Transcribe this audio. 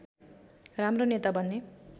राम्रो नेता बन्ने